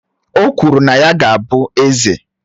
O kwuru na nna ya ga-abụ eze.